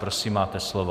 Prosím, máte slovo.